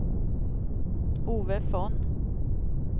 Ove Von